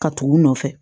Ka tugu u nɔfɛ